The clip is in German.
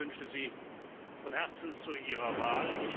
Ich beglückwünsche Sie von Herzen zu Ihrer Wahl.